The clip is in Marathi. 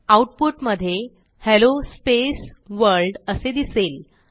आऊटपुट मधे हेल्लो स्पेस वर्ल्ड असे दिसेल